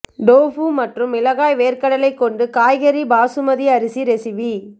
tofu மற்றும் மிளகாய் வேர்க்கடலை கொண்டு காய்கறி பாசுமதி அரிசி ரெசிபி